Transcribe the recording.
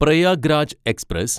Prayag Raj express